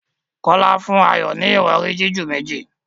Kola fún Ayo ní Ìrọ̀rí jiju méjì